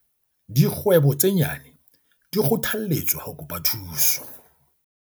Dikgwebo tse nyane di kgothalletswa ho kopa thuso